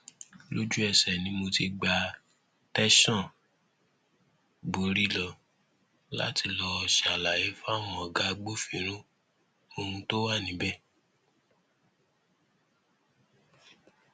lójúẹsẹ ni mo ti gba tẹsán borí lọ láti lọọ ṣàlàyé fáwọn ọgá agbófinró ohun tó wà níbẹ